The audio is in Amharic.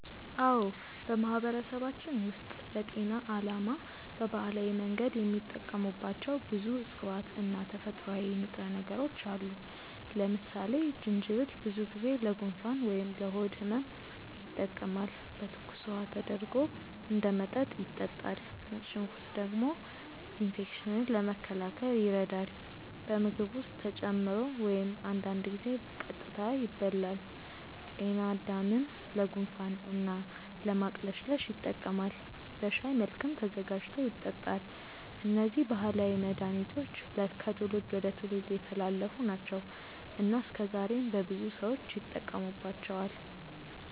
አዎ፣ በማህበረሰባችን ውስጥ ለጤና ዓላማ በባህላዊ መንገድ የሚጠቀሙባቸው ብዙ እፅዋት እና ተፈጥሯዊ ንጥረ ነገሮች አሉ። ለምሳሌ ጅንጅብል ብዙ ጊዜ ለጉንፋን ወይም ለሆድ ህመም ይጠቀማል፤ በትኩስ ውሃ ተደርጎ እንደ መጠጥ ይጠጣል። ነጭ ሽንኩርት ደግሞ ኢንፌክሽንን ለመከላከል ይረዳል፣ በምግብ ውስጥ ተጨምሮ ወይም አንዳንድ ጊዜ ቀጥታ ይበላል። ጤናድምም ለጉንፋን እና ለማቅለሽለሽ ይጠቀማል፤ በሻይ መልክም ተዘጋጅቶ ይጠጣል። እነዚህ ባህላዊ መድሃኒቶች ከትውልድ ወደ ትውልድ የተላለፉ ናቸው እና እስከዛሬም በብዙ ሰዎች ይጠቀሙባቸዋል።